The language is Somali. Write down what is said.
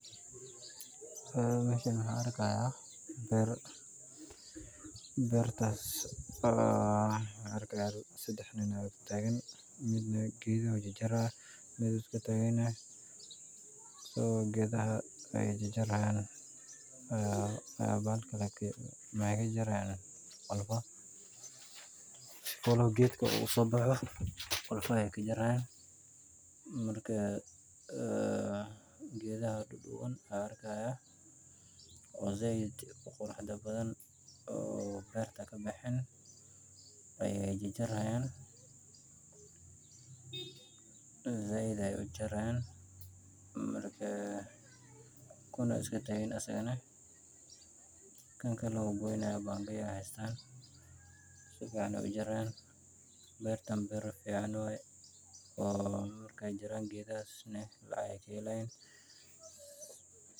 Meeshan waxaa arkaaya beer, beertaas oo sedex nin dex taagan, mid geedaha ayuu jarjaraaya, mid wuu iska taagan yahay, geedaha ayeey jarjari haayan, waxeey ka jarjari haayan qolfaha, si uu geedka usoo baxo qolfaha ayeey ka jarjari haayan, marka geedaha duduban ayaan arki haaya, oo sait uqurux badan oo beerta kabexeen ayeey jarjari haayan, sait ayeey ujarjari haayan, kuna wuu iska taagan yahay asagana, kan kalena wuu goyni haaya, panga ayeey haystaan, si fican ayeey ujari haayan, beertan beer fican waye, markeey jaraan geedahaas lacag ayeey kahelayaan.